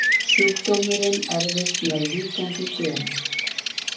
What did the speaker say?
Sjúkdómurinn erfist með víkjandi geni.